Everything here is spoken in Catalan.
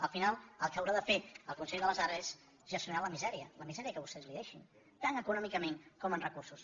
al final el que haurà de fer el consell de les arts és gestionar la misèria la misèria que vostès li deixin tant econòmicament com en recursos